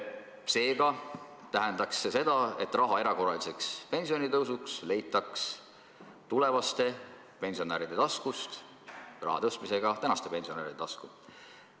Seega tähendaks see seda, et raha erakorraliseks pensionitõusuks leitaks tulevaste pensionäride taskust raha tõstmisega praeguste pensionäride taskusse.